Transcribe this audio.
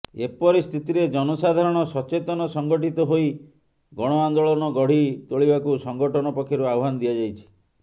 ଏପରିସ୍ଥିତିରେ ଜନସାଧାରଣ ସଚେତନ ସଂଗଠିତ ହୋଇ ଗଣଆନ୍ଦୋଳନ ଗଢି ତୋଳିବାକୁ ସଂଗଠନ ପକ୍ଷରୁ ଆହ୍ୱାନ ଦିଆଯାଇଛି